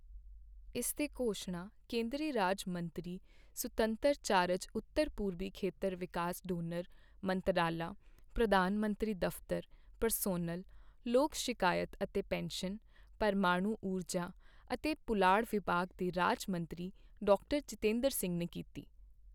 ਇਸ ਦੀ ਘੋਸ਼ਣਾ ਕੇਂਦਰੀ ਰਾਜ ਮੰਤਰੀ ਸੁਤੰਤਰ ਚਾਰਜ ਉੱਤਰ ਪੂਰਬੀ ਖੇਤਰ ਵਿਕਾਸ ਡੋਨਰ ਮੰਤਰਾਲਾ, ਪ੍ਰਧਾਨ ਮੰਤਰੀ ਦਫ਼ਤਰ, ਪਰਸੋਨਲ, ਲੋਕ ਸ਼ਿਕਾਇਤ ਅਤੇ ਪੇਂਸ਼ਨ, ਪ੍ਰਮਾਣੂ ਊਰਜਾ ਅਤੇ ਪੁਲਾੜ ਵਿਭਾਗ ਦੇ ਰਾਜ ਮੰਤਰੀ, ਡਾਕਟਰ ਜਿਤੇਂਦਰ ਸਿੰਘ ਨੇ ਕੀਤੀ।